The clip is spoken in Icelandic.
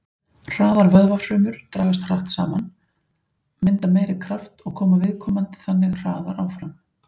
Hraðar vöðvafrumur dragast hratt saman, mynda meiri kraft og koma viðkomandi þannig hraðar áfram.